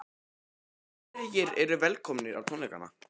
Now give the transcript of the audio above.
En hverjir eru velkomnir á tónleikana?